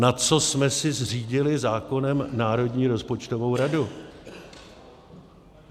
Na co jsme si zřídili zákonem Národní rozpočtovou radu?